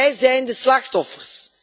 Zij zijn het slachtoffer.